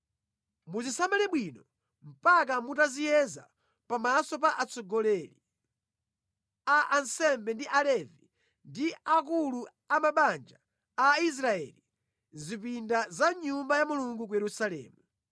Muzisamale bwino mpaka mutaziyeza pamaso pa atsogoleri a ansembe ndi Alevi ndi akulu a mabanja a Israeli mʼzipinda za mʼNyumba ya Mulungu ku Yerusalemu.”